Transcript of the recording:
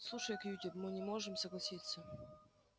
слушай кьюти мы не можем согласиться